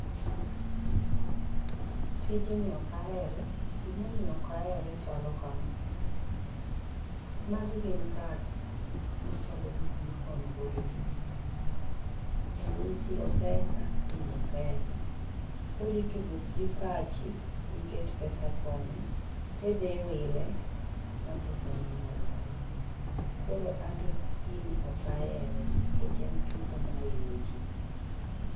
Tinji okahere, gimomiyo okahere chalo kama. Magi gin cards machalo gikmikono godo ji. En ni siyo pesa, hii ni pesa, koritugo gi pachi miket pesa koni tidhiwile ma pesa nini lal. Koro anto gini okahere, kech en tugo mahinyo ji.